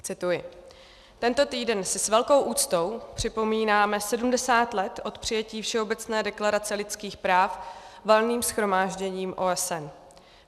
Cituji: "Tento týden si s velkou úctou připomínáme 70 let od přijetí Všeobecné deklarace lidských práv Valným shromážděním OSN.